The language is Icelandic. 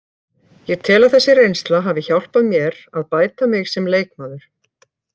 Ég tel að þessi reynsla hafi hjálpað mér að bæta mig sem leikmaður.